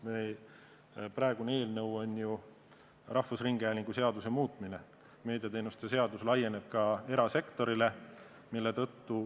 Praegune eelnõu tähendab ju rahvusringhäälingu seaduse muutmist, meediateenuste seadus laieneb ka erasektorile.